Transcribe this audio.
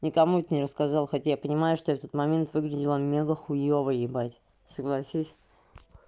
никому это не рассказал хотя я понимаю что я в тот момент выглядела мега хуёвый ебать согласись